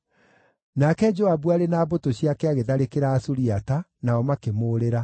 Nake Joabu arĩ na mbũtũ ciake agĩtharĩkĩra Asuriata, nao makĩmũũrĩra.